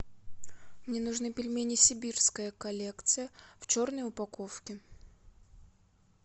мне нужны пельмени сибирская коллекция в черной упаковке